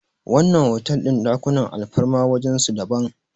wannan otal din ɗakunan alfarma wajen su daban